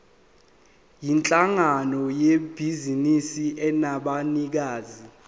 yinhlangano yebhizinisi enabanikazi